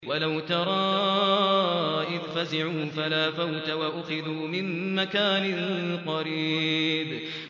وَلَوْ تَرَىٰ إِذْ فَزِعُوا فَلَا فَوْتَ وَأُخِذُوا مِن مَّكَانٍ قَرِيبٍ